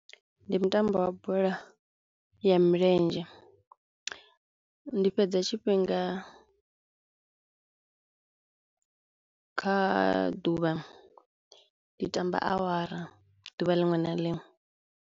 Ndi mutambo wa bola ya milenzhe, ndi fhedza tshifhinga kha ḓuvha ndi tamba awara ḓuvha liṅwe na liṅwe.